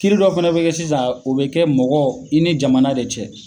Kiri dɔ fɛnɛ be kɛ sisan o be kɛ mɔgɔ i ni jamana de cɛ